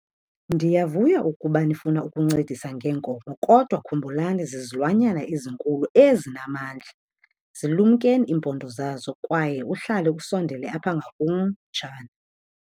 Ndiyavuya ukuba nifuna ukuncedisa ngenkomo kodwa khumbulani zizilwanyana ezinkulu ezinamandla. Zilumkeni iimpondo zazo kwaye uhlale usondele apha ngakum, mtshana.